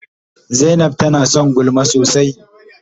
Zaina tana son gulma sosai.